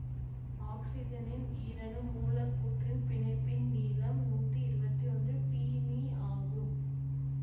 ஆக்சிசனின் ஈரணு மூலக்கூற்றின் பிணைப்பின் நீளம் நூத்தி இருவத்தி ஒன்று பிமீ ஆகும்